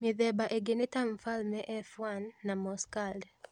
Mĩthemba ĩngĩ nĩ ta mfalme F1 na moss curled